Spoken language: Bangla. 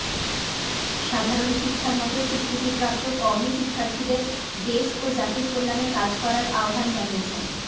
সাধারণ শিক্ষার মতোই স্বীকৃতিপ্রাপ্ত কওমি শিক্ষার্থীদের দেশ ও জাতির কল্যাণে কাজ করার আহ্বান জানিয়েছেন